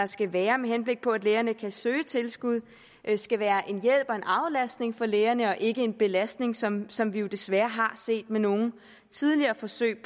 skal være med henblik på at lægerne kan søge tilskud skal være en hjælp og en aflastning for lægerne og ikke en belastning som som vi jo desværre har set ved nogle tidligere forsøg